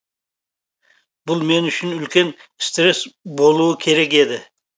бұл мен үшін үлкен стресс болуы керек еді